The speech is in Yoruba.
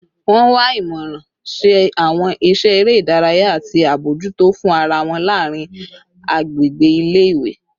Wọn wa imọran, ṣe awọn iṣẹ ere idaraya, ati abojuto fun ara wọn laarin agbegbe ile-iwe